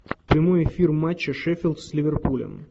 прямой эфир матча шеффилд с ливерпулем